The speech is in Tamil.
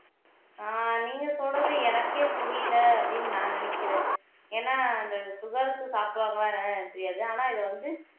ஆஹ் நீங்க சொல்றது எனக்கே புரியல அப்படின்னு நான் நினைக்கிறேன் ஏன்னா இந்த சுகர்க்கு சாப்பிடுவாங்களா என்னனு எனக்கு தெரியாது ஆனா இதை வந்து